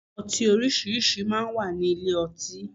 Ọtí orísìírísìí máa ń wà ní ilé ọtí.